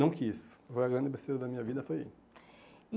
Não quis, foi a grande besteira da minha vida, foi aí. E